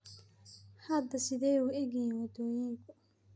hadda sidee u egyihiin wadooyinku?